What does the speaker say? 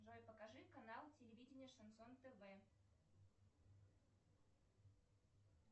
джой покажи канал телевидения шансон тв